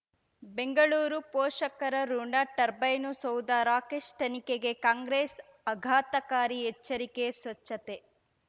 ಬೆಂಗಳೂರು ಪೋಷಕರಋಣ ಟರ್ಬೈನು ಸೌಧ ರಾಕೇಶ್ ತನಿಖೆಗೆ ಕಾಂಗ್ರೆಸ್ ಅಘಾತಕಾರಿ ಎಚ್ಚರಿಕೆ ಸ್ವಚ್ಛತೆ